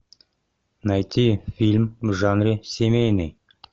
найти фильм в жанре семейный